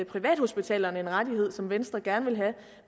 privathospitalerne en rettighed som venstre gerne vil have